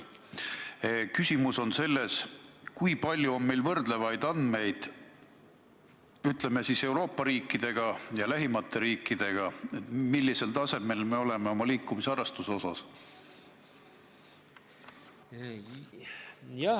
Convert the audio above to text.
Minu küsimus on: kui palju on meil andmeid, et võrrelda end lähimate ja teiste Euroopa riikidega, millisel tasemel me oleme oma liikumisharrastuse osas?